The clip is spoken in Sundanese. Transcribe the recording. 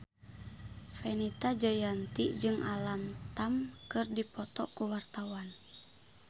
Fenita Jayanti jeung Alam Tam keur dipoto ku wartawan